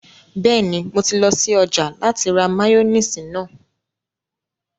Bẹ́ẹ̀ni, mo ti lọ sí ọjà láti ra máyóníìsì náà